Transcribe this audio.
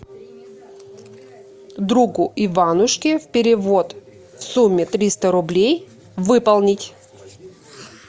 другу иванушке перевод в сумме триста рублей выполнить